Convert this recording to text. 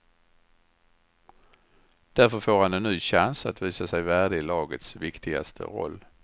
Därför får han en ny chans att visa sig värdig lagets viktigaste roll.